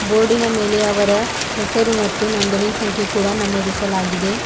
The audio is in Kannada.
ಬೋರ್ಡಿನ ಮೇಲೆ ಅವರ ಹೆಸರು ಮತ್ತು ನೋಂದಣಿ ಸಂಖ್ಯೆ ಕೂಡ ನಮೂದಿಸಲಾಗಿದೆ.